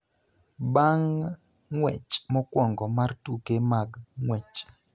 Bang� ng�wech mokwongo mar tuke mag ng�wech,